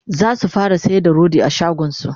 zasu fara sayar da rodi a shagonsu